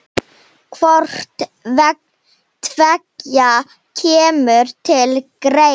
Hvort tveggja kemur til greina.